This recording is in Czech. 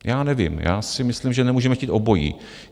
Já nevím, já si myslím, že nemůžeme chtít obojí.